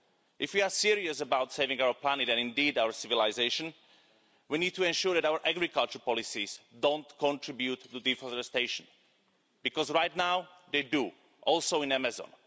If we are serious about saving our planet, and indeed our civilisation, we need to ensure that our agriculture policies do not contribute to deforestation, because right now they do also in the Amazon.